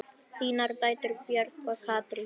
Þínar dætur, Björg og Katrín.